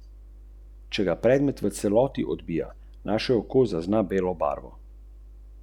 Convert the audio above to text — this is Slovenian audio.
Travnik sestavljajo različne vrste trav, divjih travnatih rastlin in nizko grmičevje.